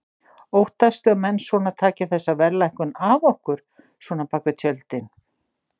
Óttastu að menn svona taki þessa verðlækkun af okkur svona bakvið tjöldin?